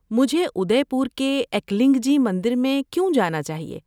مجھے ادے پور کے ایکلنگ جی مندر میں کیوں جانا چاہیے؟